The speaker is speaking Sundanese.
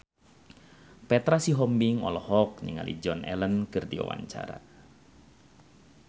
Petra Sihombing olohok ningali Joan Allen keur diwawancara